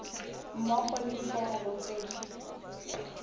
mmogo le diforomo tse di